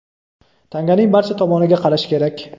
Tanganing barcha tomoniga qarash kerak.